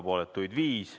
Erapooletuid oli viis.